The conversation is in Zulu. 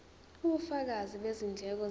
ubufakazi bezindleko zabo